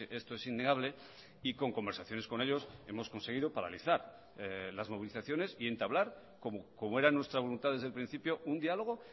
esto es innegable y con conversaciones con ellos hemos conseguido paralizar las movilizaciones y entablar como era nuestra voluntad desde el principio un diálogo